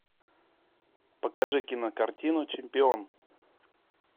покажи кинокартину чемпион